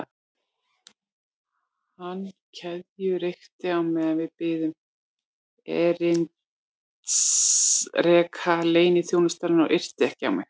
Hann keðjureykti á meðan við biðum erindreka leyniþjónustunnar og yrti ekki á mig.